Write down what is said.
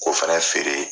K'o fɛnɛ feere